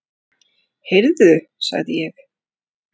Heyrðu sagði ég.